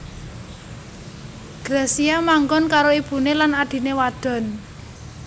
Gracia manggon karo ibuné lan adhiné wadon